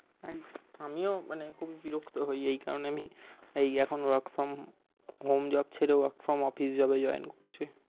হ্যাঁ আমিও খুব বিরক্ত হই এই কারনে আমি এই এখন work from home যাচ্ছিলো work from office যাবে join করছি।